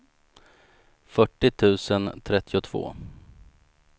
fyrtio tusen trettiotvå